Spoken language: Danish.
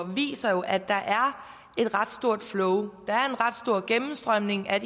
viser at der er et ret stort flow der er en ret stor gennemstrømning af